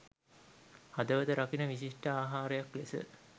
හදවත රකින විශිෂ්ට ආහාරයක් ලෙස